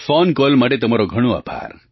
phone call માટે તમારો ઘણો આભાર